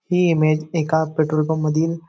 ही image एका petrol pump मधील--